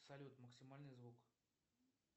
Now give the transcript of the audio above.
салют максимальный звук